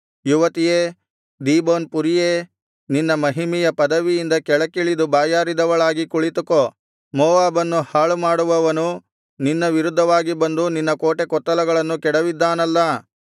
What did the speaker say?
ಯುವತಿಯೇ Dibon ಪುರಿಯೇ ನಿನ್ನ ಮಹಿಮೆಯ ಪದವಿಯಿಂದ ಕೆಳಕ್ಕಿಳಿದು ಬಾಯಾರಿದವಳಾಗಿ ಕುಳಿತುಕೋ ಮೋವಾಬನ್ನು ಹಾಳುಮಾಡುವವನು ನಿನ್ನ ವಿರುದ್ಧವಾಗಿ ಬಂದು ನಿನ್ನ ಕೋಟೆಕೊತ್ತಲಗಳನ್ನು ಕೆಡವಿದ್ದಾನಲ್ಲಾ